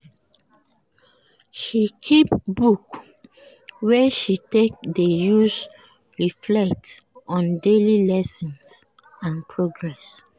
she keep book wey she take dey use reflect on daily lessons and progress.